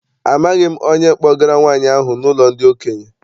Amaghị m onye kpọgara nwaanyị ahụ n'ụlọ ndị okenye.